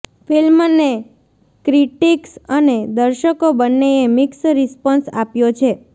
ફિલ્મને ક્રિટિક્સ અને દર્શકો બંન્નેએ મિક્સ રિસ્પોન્સ આપ્યો છે